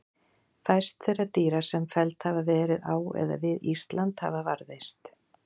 Fæst þeirra dýra sem felld hafa verið á eða við Ísland hafa varðveist.